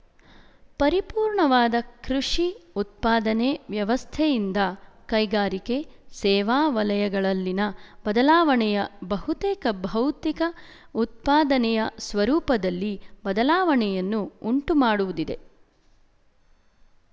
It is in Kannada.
ಪರಿಪೂರ್ಣವಾದ ಕೃಶಿ ಉತ್ಪಾದನೆ ವ್ಯವಸ್ಥೆಯಿಂದ ಕೈಗಾರಿಕೆ ಸೇವಾ ವಲಯಗಳಲ್ಲಿನ ಬದಲಾವಣೆಯ ಬಹುತೇಕ ಭೌತಿಕ ಉತ್ಪಾದನೆಯ ಸ್ವರೂಪದಲ್ಲಿ ಬದಲಾವಣೆಯನ್ನು ಉಂಟುಮಾಡುವುದಿದೆ